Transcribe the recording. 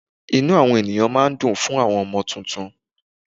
Inú àwọn ẹ̀yàn máa dùn fún àwọn ọmọ tuntun.